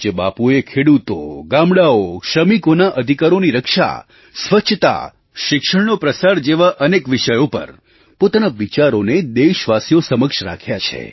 પૂજ્ય બાપુએ ખેડૂતો ગામડાંઓ શ્રમિકોના અધિકારોની રક્ષા સ્વચ્છતા શિક્ષણનો પ્રસાર જેવા અનેક વિષયો પર પોતાના વિચારોને દેશવાસીઓ સમક્ષ રાખ્યા છે